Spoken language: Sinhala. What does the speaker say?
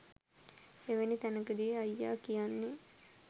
එවැනි තැනකදී අයියා කියන්නේ